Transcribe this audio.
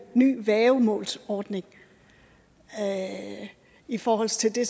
ny værgemålsordning i forhold til det